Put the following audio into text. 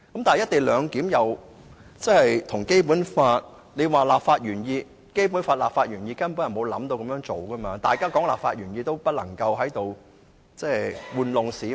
但是，《基本法》立法原意根本沒有"一地兩檢"的構思，如果要看立法原意，便不能在這裏愚弄市民。